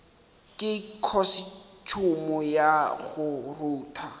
ka khosetšhumo ya go rutha